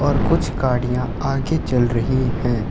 और कुछ गाड़ियां आगे चल रही हैं।